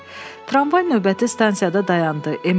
Tramvay növbəti stansiyada dayandı.